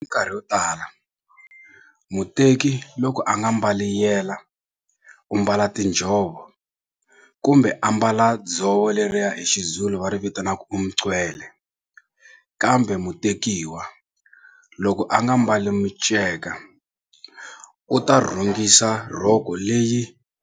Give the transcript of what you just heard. Mikarhi yo tala muteki loko a nga mbali yela u mbala tinjhovo kumbe a mbala dzovo leriya hi xiZulu va ri vitanaka kambe mutekiwa loko a nga mbali miceka u ta rhungisa rhoko leyi